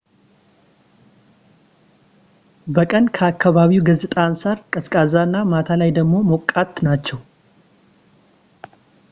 በቀን ከከባቢው ገፅታ አንፃር ቀዝቃዛ እና ማታ ላይ ደሞ ሞቃት ናቸው